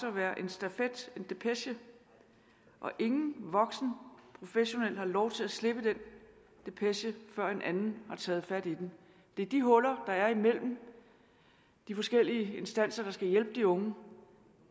at være en stafet en depeche og ingen voksen professionel har lov til at slippe den depeche før en anden har taget fat i den det er de huller der er imellem de forskellige instanser der skulle hjælpe de unge